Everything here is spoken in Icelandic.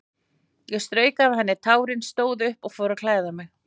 Ég strauk af henni tárin, stóð upp og fór að klæða mig.